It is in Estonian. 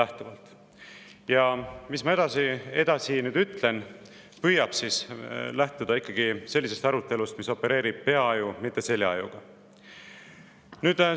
See, mis ma nüüd edasi ütlen, püüab lähtuda ikkagi sellisest arutelust, mida opereerib peaaju, mitte seljaaju.